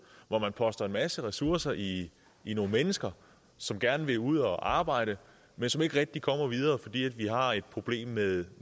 hvor der er postet en masse ressourcer i i nogle mennesker som gerne vil ud at arbejde men som ikke rigtig kommer videre fordi vi har et problem med